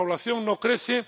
Nuestra población no crece